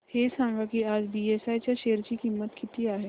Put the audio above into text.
हे सांगा की आज बीएसई च्या शेअर ची किंमत किती आहे